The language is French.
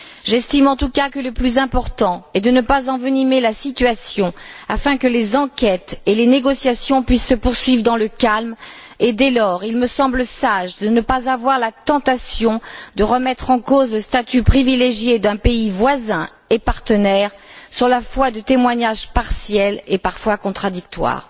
J'estime en tout cas que le plus important est de ne pas envenimer la situation afin que les enquêtes et les négociations puissent se poursuivre dans le calme et, dès lors, il me semble sage de ne pas avoir la tentation de remettre en cause le statut privilégié d'un pays voisin et partenaire sur la foi de témoignages partiels et parfois contradictoires.